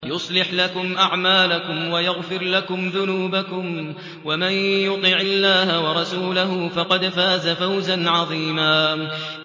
يُصْلِحْ لَكُمْ أَعْمَالَكُمْ وَيَغْفِرْ لَكُمْ ذُنُوبَكُمْ ۗ وَمَن يُطِعِ اللَّهَ وَرَسُولَهُ فَقَدْ فَازَ فَوْزًا عَظِيمًا